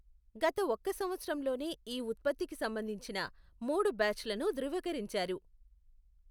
గత ఒక్క సంవత్సరంలోనే ఈ ఉత్పత్తికి సంబంధించిన మూడు బ్యాచ్లను ధృవీకరించారు.